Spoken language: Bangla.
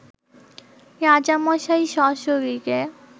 রাজামশাই সশরীরে